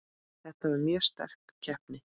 Þetta var mjög sterk keppni.